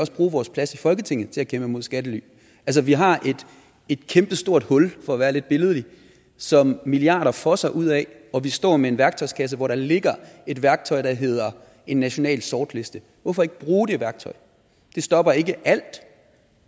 også bruge vores plads i folketinget til at kæmpe mod skattely vi har et kæmpestort hul for at være lidt billedlig som milliarder fosser ud af og vi står med en værktøjskasse hvor der ligger et værktøj der hedder en national sortliste hvorfor ikke bruge det værktøj det stopper ikke alt